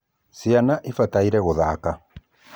ciana ibataire gũthaka